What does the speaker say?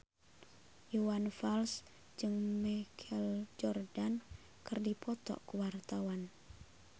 Iwan Fals jeung Michael Jordan keur dipoto ku wartawan